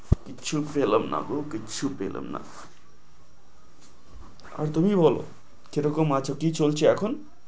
কিচ্ছু পেলাম নাগো কিচ্ছু পেলাম না আর তুমি বলো কি রকম আছো কি চলছে এখন?